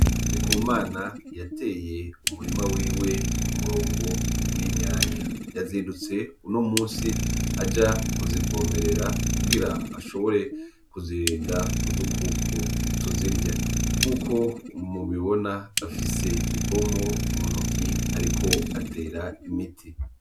Ndikumana yateye umurima wiwe ku murongo w'itomati yazindutse uno musi aja kuzivomerera kugira ashobore kuzirinda udukoko tuzirya nkuko mubibona afise ipompo mu ntoki ariko atera imiti.